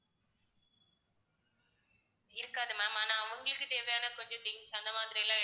இருக்காது ma'am ஆனா அவங்களுக்கு தேவையான கொஞ்சம் things அந்த மாதிரிலாம்